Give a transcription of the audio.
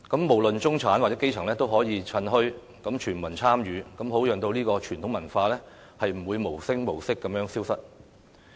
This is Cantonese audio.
無論中產或基層也可以趁墟，全民參與，好讓這種傳統文化不會無聲無息地消失。